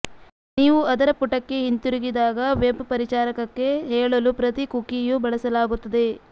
ನೀವು ಅದರ ಪುಟಕ್ಕೆ ಹಿಂತಿರುಗಿದಾಗ ವೆಬ್ ಪರಿಚಾರಕಕ್ಕೆ ಹೇಳಲು ಪ್ರತಿ ಕುಕೀಯೂ ಬಳಸಲಾಗುತ್ತದೆ